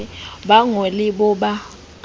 ba ngo le cbo ba